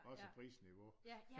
Også prisniveau